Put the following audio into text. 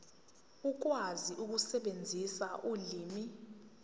ukwazi ukusebenzisa ulimi